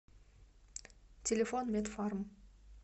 телефон медфарм